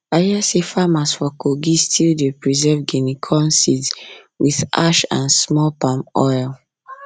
i hear say farmers for kogi still dey preserve guinea corn seeds with ash and small palm oil